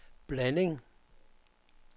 blanding